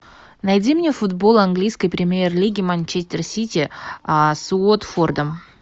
найди мне футбол английской премьер лиги манчестер сити с уотфордом